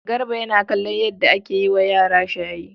Garba yana kallon yadda ake yi wa yara shayi.